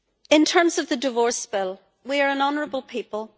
In terms of the divorce bill we are an honourable people.